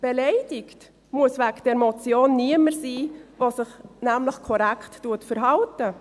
Beleidigt muss wegen dieser Motion niemand sein, der sich nämlich korrekt verhält.